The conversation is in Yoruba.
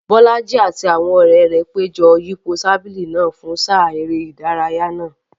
Bolaji àti àwọn ọ̀rẹ́ rẹ̀ péjọ yípo tábìlì náà fún sáà eré ìdárayá náà.